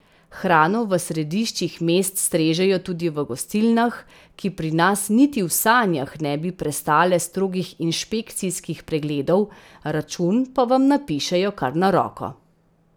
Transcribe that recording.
Hrano v središčih mest strežejo tudi v gostilnah, ki pri nas niti v sanjah ne bi prestale strogih inšpekcijskih pregledov, račun pa vam napišejo kar na roko.